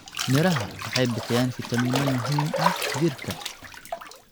Miraha waxay bixiyaan fitamiino muhiim ah jirka.